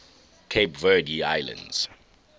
cape verde islands